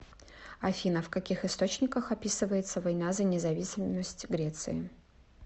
афина в каких источниках описывается война за независимость греции